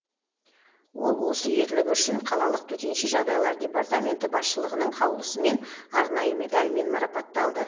ол осы ерлігі үшін қалалық төтенше жағдайлар департаменті басшылығының қаулысымен арнайы медальмен марапатталды